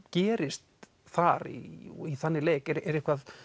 gerist þar í þannig leik er eitthvað